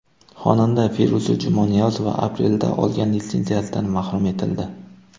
Xonanda Feruza Jumaniyozova aprelda olgan litsenziyasidan mahrum etildi.